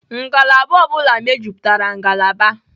Ngalaba ọ bụla mejupụtara ngalaba.